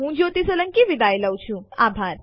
જોડાવા બદલ આભાર